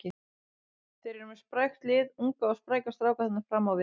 Þeir eru með sprækt lið, unga og spræka stráka þarna fram á við.